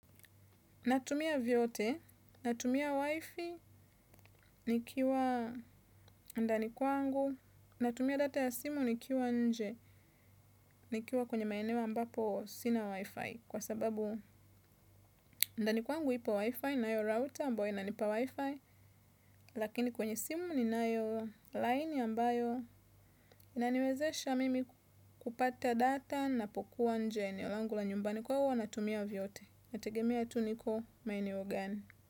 Natumia vyote, natumia wifi nikiwa ndani kwangu, natumia data ya simu nikiwa nje, nikiwa kwenye maeneo ambapo sina wifi, kwa sababu ndani kwangu ipo wifi nayo router ambayo inanipa wifi, lakini kwenye simu ni nayo line ambayo inaniwezesha mimi kupata data ninapokuwa nje ya eneo langu la nyumbani kwa hivyo huwa natumia vyote. Inategemea tu niko maeneo gani.